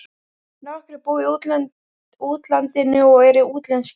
Nokkrir búa í útlandinu og eru útlenskir.